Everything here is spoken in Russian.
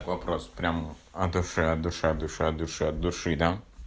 вопрос прямо от души от души от души от души от души да